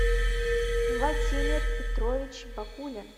владимир петрович бакулин